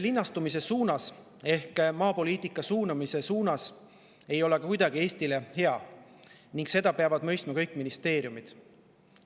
Linnastumise trend maapoliitika suunamises ei ole Eestile ka kuidagi hea ning seda peavad mõistma kõik ministeeriumid.